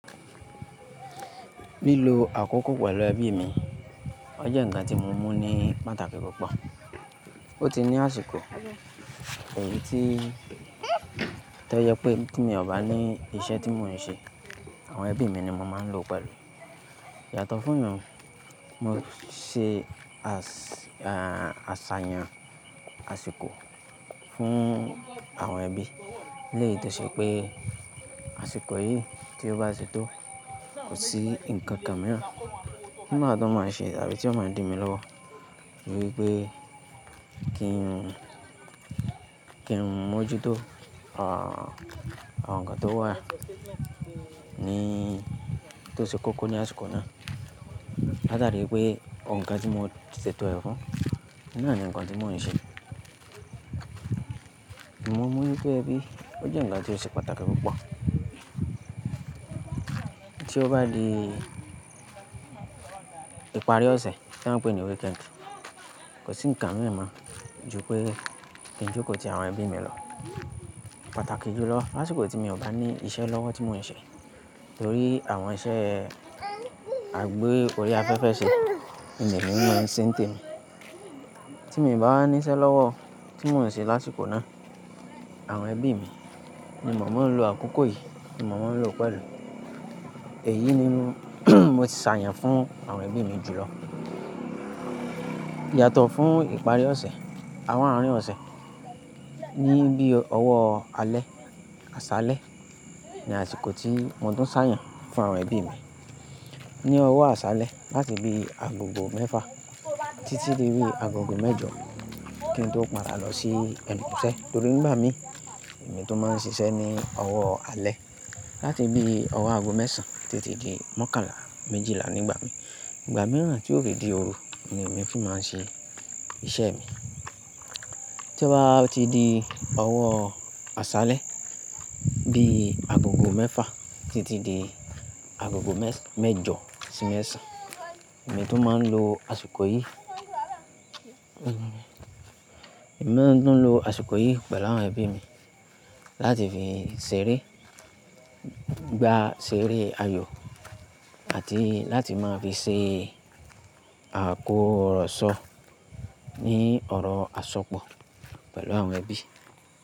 Lilo àkókò pẹ̀lú ẹbí mi. Ó jẹ́ ǹkan tí mo mú ní pàtàkì púpọ̀. Ó ti ní àsìkò èyí tí tó jẹ pé tí mi ò bá ní iṣẹ́ tí mò ń ṣe, àwọn ẹbí mi ni mo máa ń lò pẹ̀lú. Yàtọ̀ fún yun, mo ṣe, à, à, àṣàyàn àsìkò fún àwọn ẹbí. Léyi to ṣe pé àsìkò yìí tí ó bá tito kò sí ǹkan kan míràn ti máa tuń maa ṣe tàbí tí ó máa dimi lọwo ni wípé kí n, kí n mójú tó, à, àwọn ǹkan tó wà ní, tó ṣe kókó ní àsìkò náà. Láàtàrí wípé òuǹ kàn tí mo ṣètò ẹ̀ fún, náà ni ǹkan tí mò ń ṣe. Mo mú wípé ẹbí, ó jẹ́ ǹkan tí ó ṣe pàtàkì púpọ̀. Tí ó bá di ìparí ọ̀sẹ̀ tan pè ní wéekeǹd, kò sí ǹkan mí moo jù pé kí n jókòó ti àwọn ẹbí mi lọ. Pàtàkì jùlọ lásìkò tí mi ò bá ní iṣẹ́ lọ́wọ́ tí mò ń ṣe torí àwọn iṣẹ́ àgbe orí afẹ́fẹ́ ṣe, ni emi mò ń ṣe ǹ temi. Tí mi i báwa níṣẹ́ lọ́wọ́ tí mò ń ṣe lásìkò náà, àwọn ẹbí mi ni mo máa ń lo àkókò yìí ni mo máa ń lò pẹ̀lú. Èyí ni mo ti ṣàyàn fún àwọn ẹbí mi jùlọ. Yàtọ̀ fún ìparí ọ̀sẹ̀ àwọn àrín ọ̀sẹ̀ ní bí ọwọ́ alẹ́ àṣálẹ́ ni àsìkò tí mo tún ṣà yàn fún àwọn ẹbí mi ní ọwọ́ àṣálẹ́ láti bí agogo mẹ́fà títí di bí agogo mẹ́jọ, kí n tó padà lọ sí ẹnu iṣẹ́ torí nígbà mi èmi tún máa ń ṣiṣẹ́ ní ọwọ́ alẹ́ láti bí ọwọ́ agogo mẹ́ẹ̀sán títí di mọ́kànlá méjìlá ní gbà mìí ìgbà mìíràn tí yo fi dí ooru ni èmi fi máa ń ṣe iṣẹ́ mi. Tí ó bá ti di ọwọ́ àṣálẹ́ bí agogo mẹ́fà títí di agogo mẹ́jọ sí mẹ́sàn, èmi tun máa ń lo àsìkò yìí, èmi máa tuń lo àsìkò yìí pẹ̀lú àwọn ẹbí mi láti fi ṣeré, gbà ṣeré ayò àti láti máa fi ṣe àkóróṣọ ní ọ̀rọ̀ àsopọ̀ pẹ̀lú àwọn ẹbí.